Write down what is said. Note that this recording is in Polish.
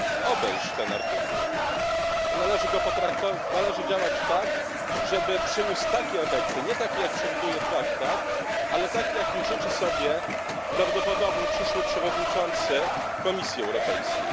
obejść ten artykuł, to należy działać tak, żeby przyniósł takie efekty nie takie, jak przewiduje Traktat, ale takie, jakich życzy sobie prawdopodobny przyszły przewodniczący Komisji Europejskiej.